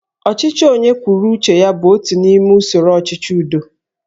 Ọchịchị onye kwuru uche ya bụ otu n'ime usoro ọchịchị udo